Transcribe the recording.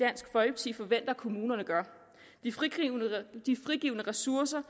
i forventer at kommunerne gør de frigivne ressourcer